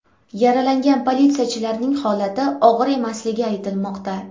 Yaralangan politsiyachilarning holati og‘ir emasligi aytilmoqda.